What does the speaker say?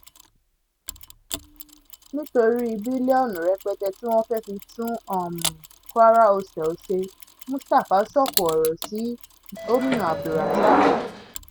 nítorí bílíọ̀nù rẹpẹtẹ tí wọ́n fẹ́ẹ́ fi tún um kwara hotel ṣe mustapha sóko ọ̀rọ̀ um sí gomina abdulrasaq